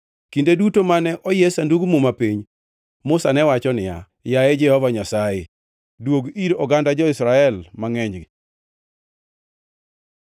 Kinde duto mane oyie Sandug Muma piny, Musa ne wacho niya, “Yaye Jehova Nyasaye, duogi ir oganda jo-Israel mangʼenygi.”